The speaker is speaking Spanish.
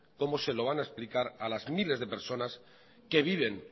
cómo se lo van a explicar a los miles de personas que viven